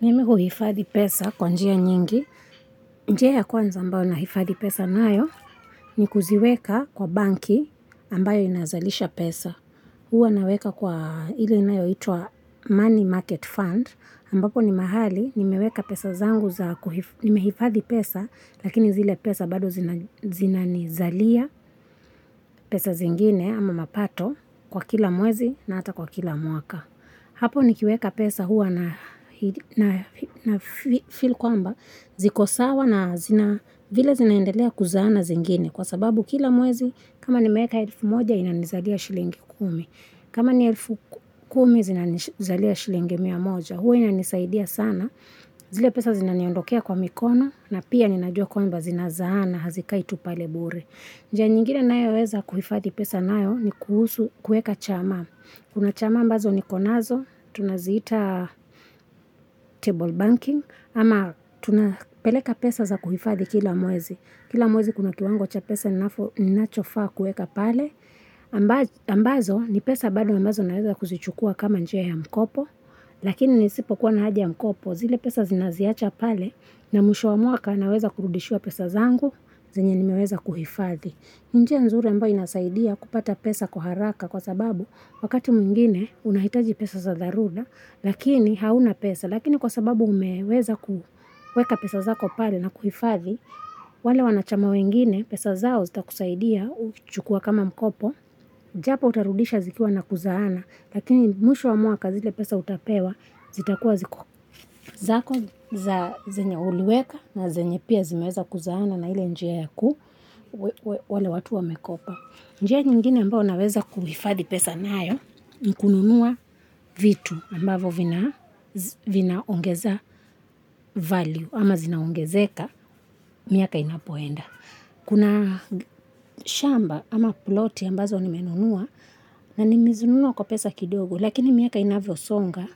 Mimi huhifadhi pesa kwa njia nyingi, njia ya kwanza ambayo na hifadhi pesa nayo ni kuziweka kwa banki ambayo inazalisha pesa. Huwa naweka kwa ile inayo hitwa money market fund ambapo ni mahali ni meweka pesa zangu za kuhifadhi pesa lakini zile pesa bado zina nizalia pesa zingine ama mapato kwa kila mwezi na ata kwa kila mwaka. Hapo nikiweka pesa huwa na fill kwamba zikosawa na zina vila zinaendelea kuzana zingine kwa sababu kila mwezi kama ni meka elfu moja inanizalia shilingi kumi. Kama ni elfu kumi zinanizalia shilingi mia moja huwa inanisaidia sana zile pesa zinaniondokea kwa mikono na pia ninajua kwamba zinazaana hazika tu palebure. Nja nyingine nayo weza kuhifadi pesa nayo ni kuhusu kuweka chama. Kuna chama ambazo ni konazo, tunaziita table banking ama tunapeleka pesa za kuhifadi kila mwezi. Kila mwezi kuna tuango cha pesa inacho faa kueka pale. Ambazo ni pesa bado ambazo naweza kuzichukua kama njia ya mkopo. Lakini nisipo kuwa na haja mkopo zile pesa zinaziacha pale na mwisho wa muaka naweza kurudishua pesa zangu zenye ni meweza kuhifadhi. Njia nzuru ambayo inasaidia kupata pesa kuharaka kwa sababu wakati mwingine unahitaji pesa za daruda lakini hauna pesa lakini kwa sababu umeweza kuweka pesa za kopale na kuhifadhi wale wanachama wengine pesa zao zita kusaidia uchukua kama mkopo japo utarudisha zikiwa na kuzahana Lakini mwisho wa mwaka zile pesa utapewa, zitakuwa ziku zako za zenye uliweka na zenye pia zimeza kuzahana na hile njia yaku wale watu wa mekopa. Njia nyingine ambao unaweza kuifadi pesa nayo, nikununua vitu ambavo vinaongeza value ama zinaongezeka miaka inapoenda. Kuna shamba ama ploti ambazo ni menunua na ni mizunua kwa pesa kidogo lakini miaka inavyo songa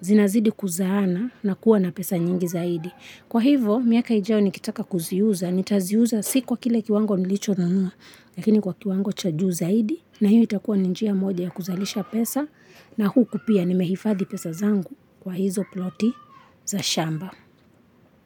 zinazidi kuzana na kuwa na pesa nyingi zaidi. Kwa hivo miaka ijao ni kitaka kuziuza ni taziuza si kwa kile kiwango nilicho nunua lakini kwa kiwango chaju zaidi na hio itakuwa ninjia moja ya kuzalisha pesa na huu kupia ni mehifadhi pesa zangu kwa hizo ploti za shamba.